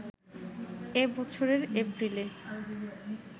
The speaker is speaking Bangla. এ বছরের এপ্রিলে